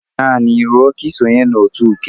Naanị rịọ ka isonye na otu Uke.